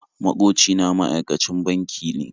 Maƙoci na ma'aikacin banki ne